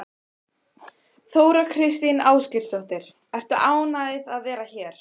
Þóra Kristín Ásgeirsdóttir: Ertu ánægð að vera hér?